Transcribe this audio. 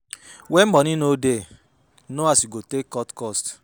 When money no de no as you go take cut cost